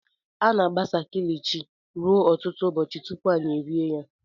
A na-agbasa kilishi ruo ọtụtụ ụbọchị tupu anyị rie ya.